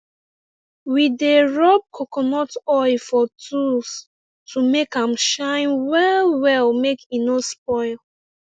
we dey rub coconut oil for tols to make am shine well well make e no spoil